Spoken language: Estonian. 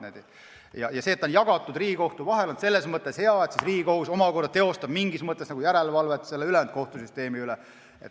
Ja see, et vastutus on jagatud Riigikohtuga, on selles mõttes hea, et Riigikohus omakorda teeb mingis mõttes järelevalvet ülejäänud kohtusüsteemi üle.